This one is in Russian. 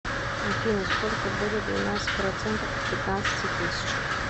афина сколько будет двенадцать процентов от пятнадцати тысяч